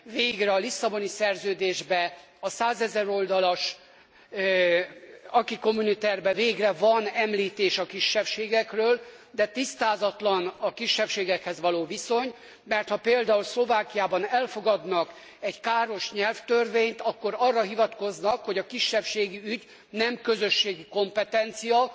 Végre a Lisszaboni Szerződésben, a százezer oldalas acquis communautaire ben végre van említés a kisebbségekről, de tisztázatlan a kisebbségekhez való viszony, mert ha például Szlovákiában elfogadnak egy káros nyelvtörvényt, akkor arra hivatkoznak, hogy a kisebbségi ügy nem közösségi kompetencia,